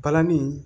Balani